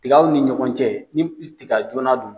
Tigaw ni ɲɔgɔn cɛ ni tiga joona don.